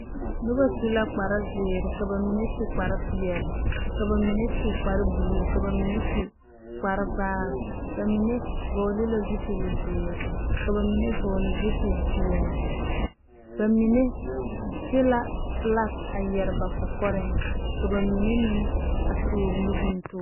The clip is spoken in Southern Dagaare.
Nobɔ su la kparezeere ka ba mine su kparepeɛle ka ba mine su kparebluu ka ba mine su kparevaare ba mine vɔgle la zipilzeere ka ba mine vɔgle zupilpeɛle ba mine de la la flak a yɛre ba kɔkɔrɛɛŋ ka ba mine meŋ a toore nubontoore.